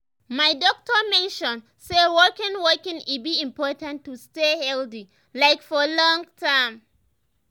my doctor mention say walking walking e be important to stay healthy like for long term.